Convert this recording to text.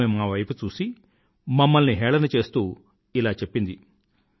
ఆమె మావైపు చూసి మమ్మల్ని హేళన చేస్తూ ఇలా చెప్పింది